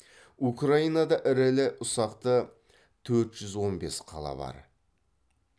украинада ірілі ұсақты төрт жүз он бес қала бар